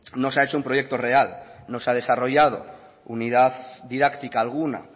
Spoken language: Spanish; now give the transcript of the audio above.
no se ha hecho un proyecto real no se ha desarrollado unidad didáctica alguna